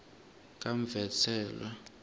kamvenselwa